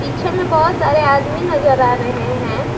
पीछे मे बहुत सारे आदमी नजर आ रहे हैं।